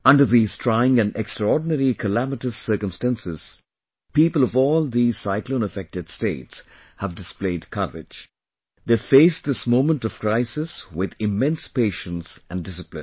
Under these trying and extraordinary calamitous circumstances, people of all these cyclone affected States have displayed courage...they've faced this moment of crisis with immense patience and discipline